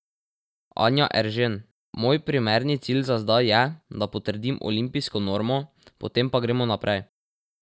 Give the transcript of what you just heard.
Anja Eržen: "Moj primerni cilj za zdaj je, da potrdim olimpijsko normo, potem pa gremo naprej.